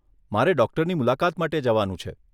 મારે ડોક્ટરની મુલાકાત માટે જવાનું છે.